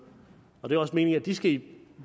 og det er også meningen at de skal i